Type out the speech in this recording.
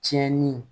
Tiɲɛni